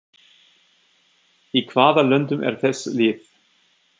Í hvaða löndum eru þessi lið?